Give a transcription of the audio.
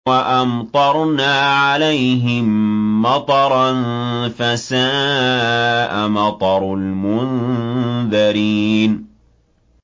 وَأَمْطَرْنَا عَلَيْهِم مَّطَرًا ۖ فَسَاءَ مَطَرُ الْمُنذَرِينَ